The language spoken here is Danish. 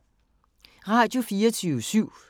Radio24syv